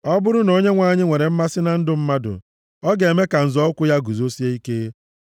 Ọ bụrụ na Onyenwe anyị nwere mmasị na ndụ mmadụ, ọ ga-eme ka nzọ ụkwụ ya guzosie ike;